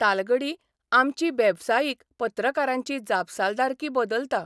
तालगडी आमची बेवसायीक पत्रकारांची जापसालदारकी बदलता.